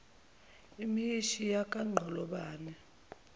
imhsi yakha inqolobane